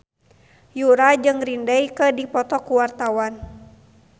Yura jeung Green Day keur dipoto ku wartawan